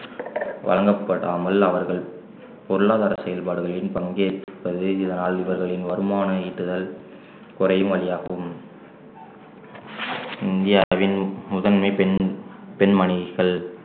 வழங்கப்படாமல் அவர்கள் பொருளாதார செயல்பாடுகளில் பங்கேற்பது இதனால் இவர்களின் வருமானம் ஈட்டுதல் குறையும் வழியாகும் இந்தியாவின் முதன்மை பெண்~ பெண்மணிகள்